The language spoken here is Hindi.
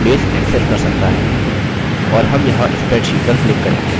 और हम यहाँ spreadsheet पर click करेंगे